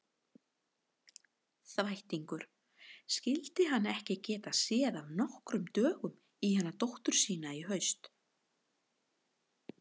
Þvættingur, skyldi hann ekki geta séð af nokkrum dögum í hana dóttur sína í haust.